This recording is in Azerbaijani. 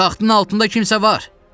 Taxtın altında kimsə var.